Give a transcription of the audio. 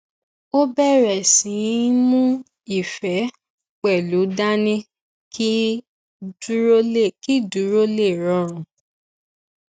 ó bèrè sí í mú ife pẹlú dání kí dúró lè rọrùn